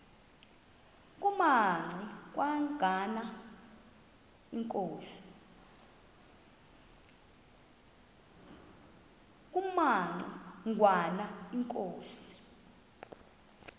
kumaci ngwana inkosi